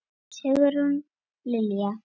Sigrún Lilja.